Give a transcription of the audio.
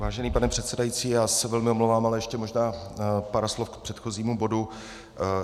Vážený pane předsedající, já se velmi omlouvám, ale ještě možná pár slov k předchozímu bodu.